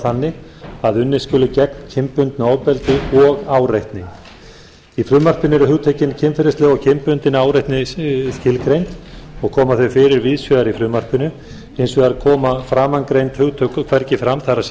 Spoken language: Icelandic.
þannig að unnið skuli gegn kynbundnu ofbeldi og áreitni í frumvarpinu eru hugtökin kynferðisleg og kynbundin áreitni tilgreind og koma þau fyrir víðsvegar í frumvarpinu hins vegar koma framangreind hugtök hvergi fram það